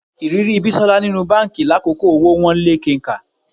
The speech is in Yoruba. Ìrírí Bísọ́lá nínú báǹkì lákòókò owó wọ́n lé kenkà